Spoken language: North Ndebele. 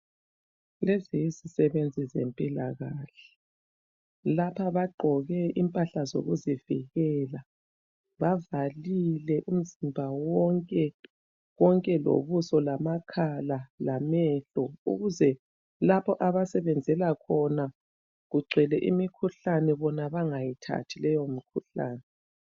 Lezi yizisebenzi zempilakahle. Lapha bagqoke impahla zokuzivikela bavalile umzimba wonke konke lobuso lamakhala lamehlo ukuze lapho abasebenzela khona kugcwele imikhuhlane bona bangayithathi leyo mikhuhlane.